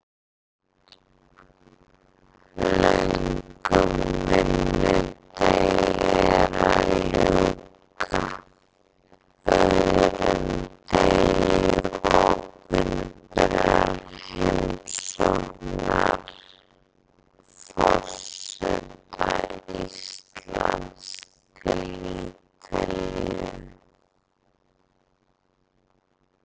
Löngum vinnudegi er að ljúka, öðrum degi opinberrar heimsóknar forseta Íslands til Ítalíu.